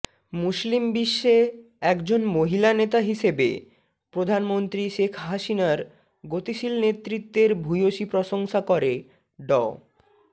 মুসলিম বিশ্বে একজন মহিলা নেতা হিসেবে প্রধানমন্ত্রী শেখ হাসিনার গতিশীল নেতৃত্বের ভূয়সী প্রশংসা করে ড